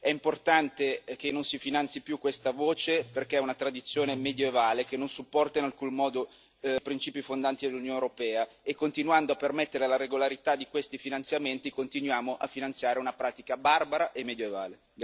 È importante che non si finanzi più questa voce perché è una tradizione medievale, che non supporta in alcun modo i principi fondanti dell'Unione europea, e continuando a permettere la regolarità di questi finanziamenti continuiamo a finanziare una pratica barbara e medioevale.